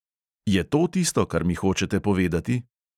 Je to tisto, kar mi hočete povedati?